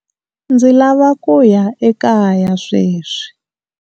Ndzi lava ku ya ekaya sweswi.